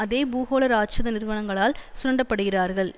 அதே பூகோள இராட்சத நிறுவனங்களால் சுரண்டப்படுகிறார்கள்